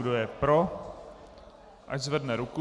Kdo je pro, ať zvedne ruku.